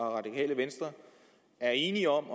radikale venstres er enige om